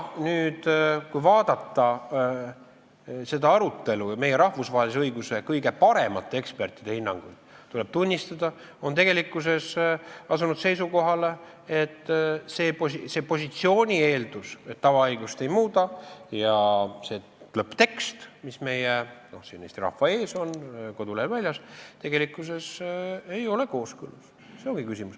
Kui vaadata seda arutelu ja meie rahvusvahelise õiguse kõige paremate ekspertide hinnanguid, siis tuleb tunnistada, et nemad on asunud seisukohale, et see positsiooni eeldus, et tavaõigust ei muudeta, ja see lõpptekst, mis on siin Eesti rahva ees kodulehel väljas, ei ole tegelikkuses kooskõlas.